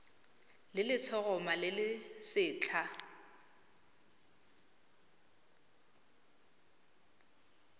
le letshoroma le le setlha